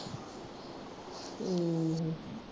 ਹਮ